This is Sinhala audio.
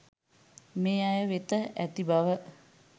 මේ අය වෙත ඇති බව